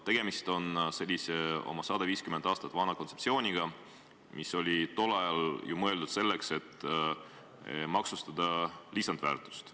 Tegemist on sellise oma 150 aastat vana kontseptsiooniga, mis oli omal ajal mõeldud selleks, et maksustada lisandväärtust.